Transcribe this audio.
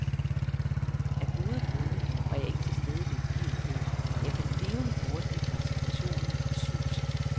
Af gode grunde var jeg ikke til stede ved begivenheden, men jeg kan levende forestille mig situationen og suset.